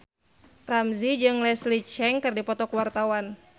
Ramzy jeung Leslie Cheung keur dipoto ku wartawan